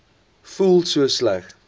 voel so sleg